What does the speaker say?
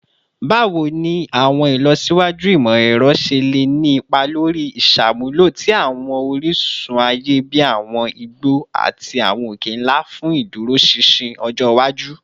Bawo ni awọn ilọsiwaju imọ-ẹrọ ṣe le ni ipa lori iṣamulo ti awọn orisun aye bi awọn igbo ati awọn oke-nla fun iduroṣinṣin ọjọ iwaju?